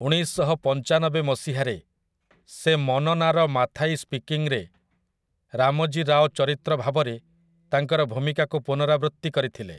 ଉଣେଇଶଶହପଞ୍ଚାନବେ ମସିହାରେ, ସେ 'ମନନାର ମାଥାଇ ସ୍ପିକିଂ' ରେ ରାମଜୀ ରାଓ ଚରିତ୍ର ଭାବରେ ତାଙ୍କର ଭୂମିକାକୁ ପୁନରାବୃତ୍ତି କରିଥିଲେ ।